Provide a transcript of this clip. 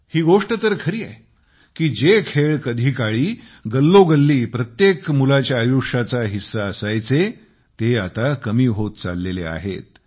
ही गोष्ट तर खरी आहे की जे खेळ कधी काळी गल्लोगल्ली प्रत्येक मुलाच्या आयुष्याचा हिस्सा असायचे ते आता कमी होत चाललेले आहेत